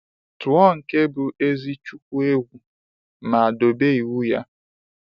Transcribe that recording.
Tuo nke bụ ezi chukwu egwu ma dobe iwu ya.